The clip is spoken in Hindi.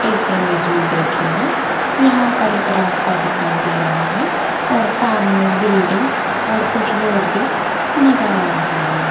इस इमेज में दिखेगा यहां पर एक रास्ता दिखाई दे रहा है और सामने बिल्डिंग और कुछ लोग भी नजर आ रहे हैं।